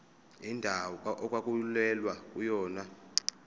indawo okwakulwelwa kuyona